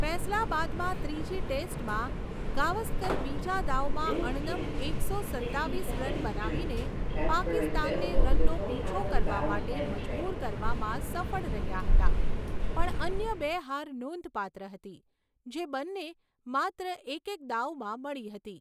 ફૈસલાબાદમાં ત્રીજી ટેસ્ટમાં, ગાવસ્કર બીજા દાવમાં અણનમ એકસો સત્તાવીસ રન બનાવીને પાકિસ્તાનને રનનો પીછો કરવા માટે મજબૂર કરવામાં સફળ રહ્યા હતા પણ અન્ય બે હાર નોંધપાત્ર હતી, જે બંને માત્ર એક એક દાવમાં મળી હતી.